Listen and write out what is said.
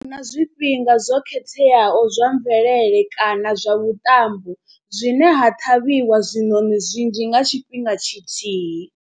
Na zwifhinga zwo khetheaho zwa mvelele kana zwa vhuṱambo zwine ha ṱhavhiwa zwinoni zwinzhi nga tshifhinga tshithihi.